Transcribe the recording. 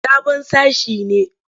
Sabon sashe ne.